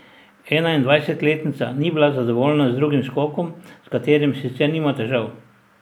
Enaindvajsetletnica ni bila zadovoljna z drugim skokom, s katerim sicer nima težav.